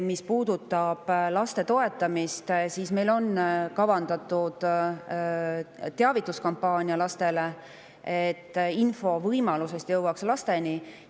Mis puudutab laste toetamist, siis meil on kavandatud teavituskampaania, et info selle võimaluse kohta lasteni jõuaks.